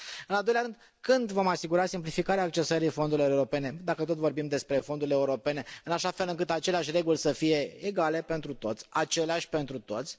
În al doilea rând, când vom asigura simplificarea accesării fondurilor europene dacă tot vorbim despre fondurile europene în așa fel încât aceleași reguli să fie egale pentru toți, aceleași pentru toți?